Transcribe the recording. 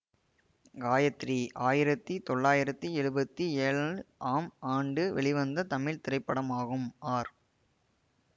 காயத்ரி ஆயிரத்தி தொளாயிரத்தி எழுபத்தி ஏழு ஆம் ஆண்டு வெளிவந்த தமிழ் திரைப்படமாகும் ஆர்